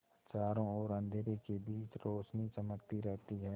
चारों ओर अंधेरे के बीच रौशनी चमकती रहती है